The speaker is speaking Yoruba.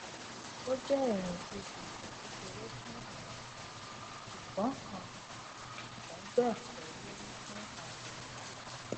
o jẹ ìrìn ibusọ kékeré fún àwọn kan sùgbón kan sùgbón bẹẹ kọ lórí fún àwọn yòókù